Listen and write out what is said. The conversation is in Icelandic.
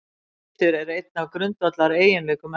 Litur er einn af grundvallareiginleikum efnanna.